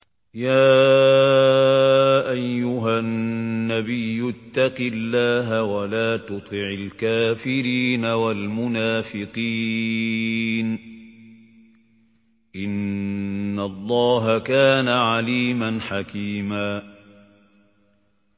يَا أَيُّهَا النَّبِيُّ اتَّقِ اللَّهَ وَلَا تُطِعِ الْكَافِرِينَ وَالْمُنَافِقِينَ ۗ إِنَّ اللَّهَ كَانَ عَلِيمًا حَكِيمًا